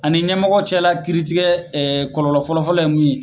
Ani ɲɛmɔgɔ cɛ la kiiritigɛ kɔlɔlɔ fɔlɔfɔlɔ ye mun ye